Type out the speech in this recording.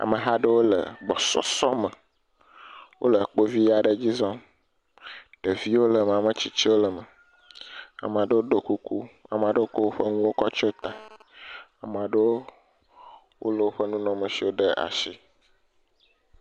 Ameha aɖewo le gbɔsɔsɔme. Wole kpovi aɖe dzi zɔm. Ɖeviwo le me, ame tsitsiwo le me. Amaa ɖewo ɖɔ kuku amaa ɖewo kɔ woƒe nuwo kɔ tsyɔ ta. Amaa ɖewo wolé woƒe nunɔameshiwo ɖe ashi.